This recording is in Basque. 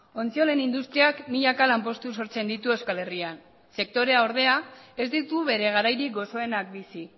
ontziolen industriak milaka lanpostu sortzen ditu euskal herrian sektorea ordea ez ditu bere garairik goxoenak bizi